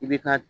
I bi ka